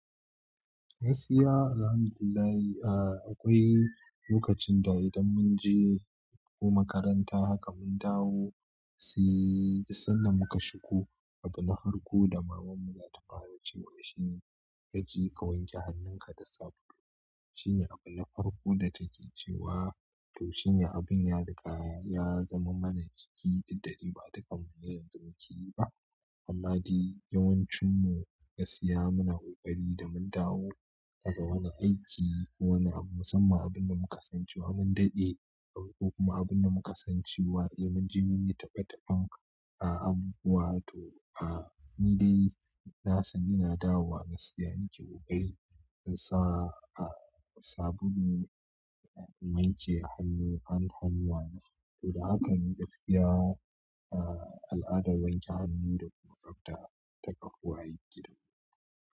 Gaskiya alhamdulillah, aa akwai lokacin da idan mun je ko makaranta haka mun dawo si- sannan muka shigo, abu na farko da maman mu za ta fara cewa shine "ka je ka wanke hannunka da sabulu". Shine abu na farko da take cewa, to shine abun ya riga ya zaman mana jiki, diddade ba dukan mu yanzu muke yi ba. Amma de yawancin mu gaskiya muna ƙoƙari da mun dawo daga wani aiki ko wani abu musamman abin da muka san cewa mun daɗe, ko kuma abin da muka san cewa eh mun ji mun yi taɓe-taɓen a abubuwa to a ni dai nasan ina dawo gaskiya nake ƙoƙari in sa a sabulu na wanke hannu han-hannuwa na. To da hakan ni gaskiya al'adar wanke hannu da kuma tsafta ta kafu a gidan mu.